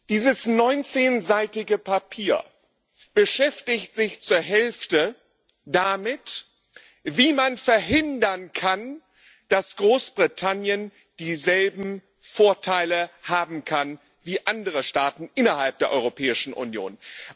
Dieses neunzehnseitige Papier beschäftigt sich zur Hälfte damit, wie man verhindern kann, dass Großbritannien dieselben Vorteile haben kann wie andere Staaten innerhalb der Europäischen Union.